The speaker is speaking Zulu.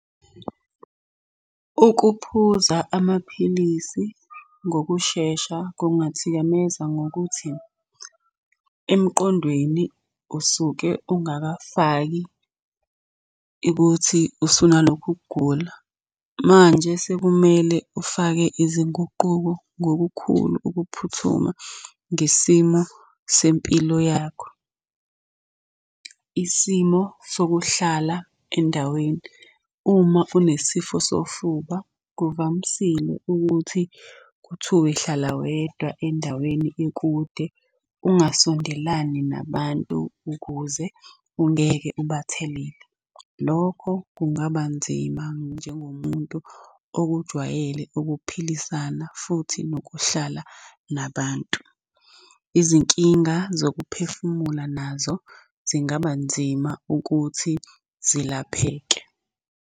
Ukuphuza amaphilisi ngokushesha kungathikameza ngokuthi, emqondweni usuke ungakafaki ikuthi usunalokhu ukugula. Manje sekumele ufake izinguquko ngokukhulu ukuphuthuma ngesimo sempilo yakho. Isimo sokuhlala endaweni, uma unesifo sofuba, kuvamisile ukuthi kuthuwe hlala wedwa endaweni ekude, ungasondelani nabantu ukuze ungeke ubathelele. Lokho kungaba nzima njengomuntu okujwayele ukuphilisana futhi nokuhlala nabantu. Izinkinga zokuphefumula nazo zingaba nzima ukuthi zelapheke.